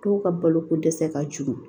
Dɔw ka balo ko dɛsɛ ka jugu